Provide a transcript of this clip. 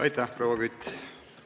Aitäh, proua Kütt!